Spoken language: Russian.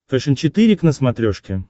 фэшен четыре к на смотрешке